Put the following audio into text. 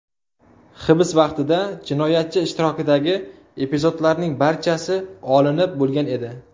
Hibs vaqtida jinoyatchi ishtirokidagi epizodlarning barchasi olinib bo‘lgan edi.